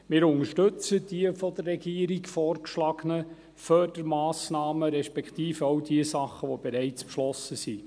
Wir unterstützen die von der Regierung vorgeschlagenen Fördermassnahmen, respektive auch die Dinge, die bereits beschlossen sind.